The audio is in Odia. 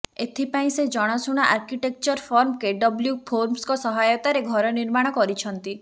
ଏଥିପାଇଁ ସେ ଜଣାଶୁଣା ଆର୍କିଟେକ୍ଚର ଫର୍ମ କେଡବ୍ଲ୍ୟୁ ପ୍ରୋମ୍ସଙ୍କ ସହାୟତାରେ ଘର ନିର୍ମାଣ କରିଛନ୍ତି